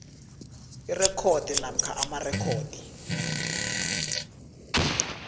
irekhodi namkha amarekhodi